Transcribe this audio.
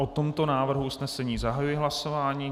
O tomto návrhu usnesení zahajuji hlasování.